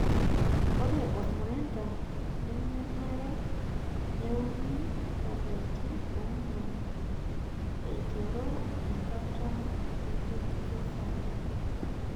Ore ormurendaa nemenare neuni lapaitin ong'wan aiteru enkata enkikesata.